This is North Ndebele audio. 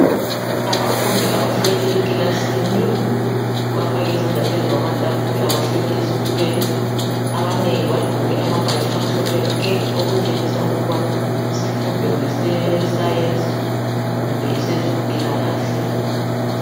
Abafundi abahleli ekilasini bafake izandla phezu kwamatafula bahleli ezitulweni abanengi bagqoke amabhatshi amhlophe nke. Okutshengisa ukuba isifundo ngese sayensi kumbe esezempilakahle.